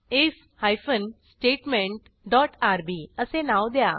if hyphen statement dot R B असे नाव द्या